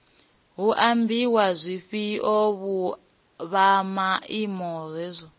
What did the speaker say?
hu ambiwa zwifhio vhomaine hezwo